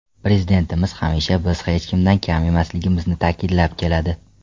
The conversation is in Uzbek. Prezidentimiz hamisha biz hech kimdan kam emasligimizni ta’kidlab keladi.